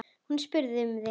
Hún spurði um þig.